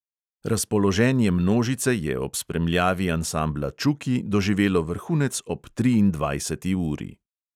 Razpoloženje množice je ob spremljavi ansambla čuki doživelo vrhunec ob triindvajseti uri.